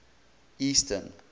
eastern